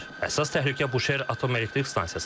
Əsas təhlükə Buşer Atom Elektrik stansiyasıdır.